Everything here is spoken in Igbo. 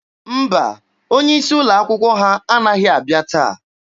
Mba, onye isi ụlọ akwụkwọ ha anaghị abịa taa.